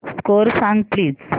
score सांग please